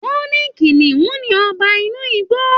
Wọn ní kìnìún ní ọba inú igbó.